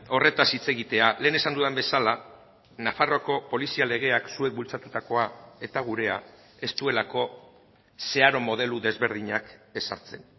horretaz hitz egitea lehen esan dudan bezala nafarroako polizia legeak zuek bultzatutakoa eta gurea ez duelako zeharo modelo desberdinak ezartzen